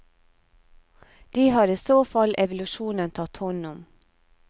De har i så fall evolusjonen tatt hånd om.